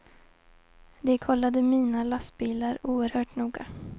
De kollade mina lastbilar oerhört noga.